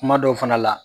Kuma dɔw fana la